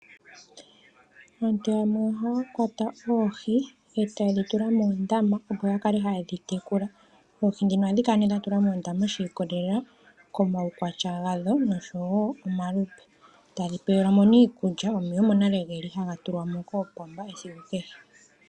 Aantu yamwe ohaya kwata oohi yo tayedhi tula moondama opo ya kale hayedhi tekula. Oohi dhino ohadhi kala nee dha tulwa moondama shiikololela komaukwatya gadho noshowo omalupe, tadhi pewelwamo iikulya, omeya omo nale geli haga tulwamo koopomba esiku kehe.